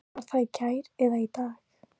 Var það í gær eða í dag?